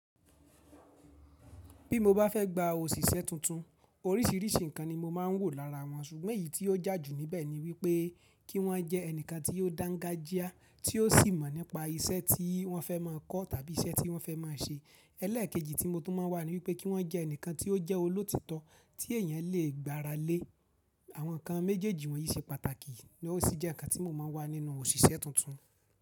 Bí mo bá fẹ́ gba òṣìṣẹ́ tuntun, oríṣìíríṣìí nǹkan ni mo máa ń wò lára wọn ṣùgbọ́n èyí tí ó jà jù níbẹ̀ ni wípé kí wọ́n jẹ́ ẹnìkan tí ó dángájíá tí ó sì mọ̀ nípa iṣẹ́ tí wọ́n fẹ́ máa kọ́ tàbí iṣẹ́ tí wọ́n fẹ́ máa ṣe. Ẹ̀lẹ́ẹ̀kejì tí mo tún máa ń wà ni wípé kí wọ́n jẹ́ ẹnìkan tí ó jẹ́ olótítọ́ tí èèyàn lè gbára lé. Àwọn nǹkan méjèèjì wọ̀nyí ṣe pàtàkì ní ó sì jẹ́ nǹkan tí mo máa ń wà nínú òṣìṣẹ́ tuntun.